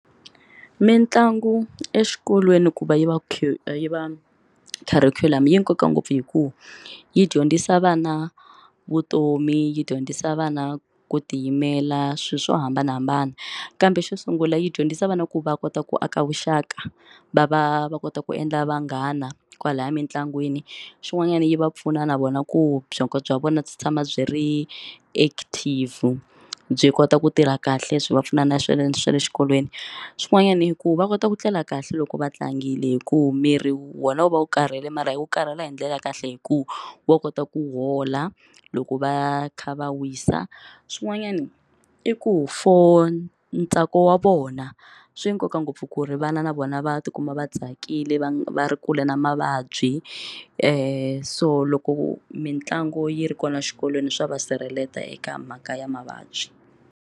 Mitlangu exikolweni ku va yi va ka va yi va kharikhulamu ya nkoka ngopfu hikuva yi dyondzisa vana vutomi yi dyondzisa vana ku tiyimela swilo swo hambanahambana kambe xo sungula yi dyondzisa vana ku va kota ku aka vuxaka va va va kota ku endla vanghana kwalaya emitlangwini xin'wanyana yi va pfuna na vona ku byongo bya vona byi tshama byi ri active byi kota ku tirha kahle swi va pfuna na swale swale xikolweni swin'wanyana i ku va kota ku tlela kahle loko va tlangile hi ku miri wu wona wu va wu karhele mara hi ku karhala hi ndlela ya kahle hikuva wa kota ku hola loko va kha va wisa swin'wanyana i ku for ntsako wa vona swi nkoka ngopfu ku ri vana na vona va tikuma va tsakile va va ri kule na mavabyi safe so loko mitlangu yi ri kona xikolweni swa va sirheleta eka mhaka ya mavabyi.